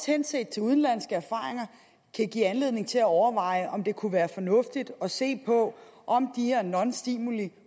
hensyn til udenlandske erfaringer kan give anledning til at overveje om det kunne være fornuftigt at se på om de her nonstimulirum